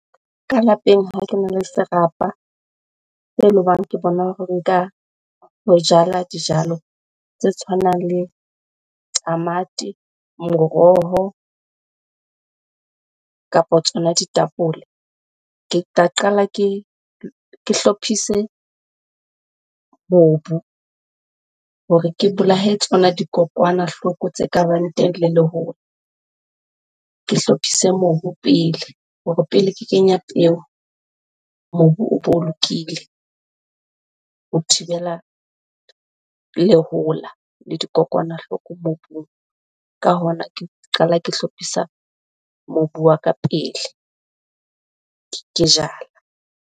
Ka lapeng ha kena le serapa tse le hobang ke bona hore nka ho jala dijalo tse tshwanang le tamati, moroho kapa tsona ditapole. Ke tla qala ke hlophise mobu hore ke bolaye tsona dikokwanahloko tse kabang teng le lehola. Ke hlophise mobu pele hore pele ke kenya peo, mobu o bo lokile ho thibela lehola le dikokwanahloko mobung. Ka hona, ke qala ke hlophisa mobu wa ka pele ke jala.